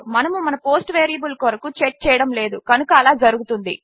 మనము మన post variable కొరకు చెక్ చేయడము లేదు కనుక అలా జరుగుతుంది